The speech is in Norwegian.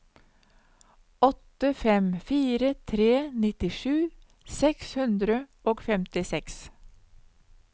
åtte fem fire tre nittisju seks hundre og femtiseks